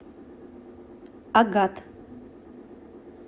агат